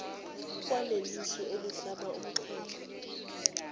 kwalelisu elihlaba umxhwele